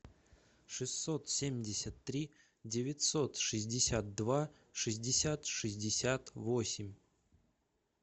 шестьсот семьдесят три девятьсот шестьдесят два шестьдесят шестьдесят восемь